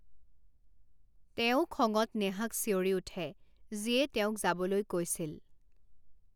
তেওঁ খঙত নেহাক চিঞৰি উঠে, যিয়ে তেওঁক যাবলৈ কৈছিল।